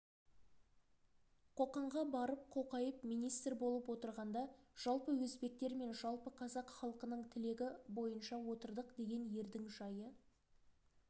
қоқанға барып қоқайып министр болып отырғанда жалпы өзбектер мен жалпы қазақ халқының тілегі бойынша отырдық деген ердің жайы